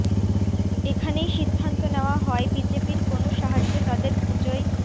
সেখানেই সিদ্ধান্ত নেওয়া হয় বিজেপির কোনও সাহায্য তাদের পুজোয়